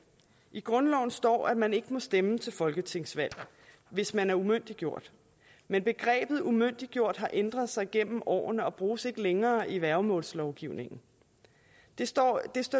i grundloven står at man ikke må stemme til folketingsvalg hvis man er umyndiggjort men begrebet umyndiggjort har ændret sig gennem årene og bruges ikke længere i værgemålslovgivningen det står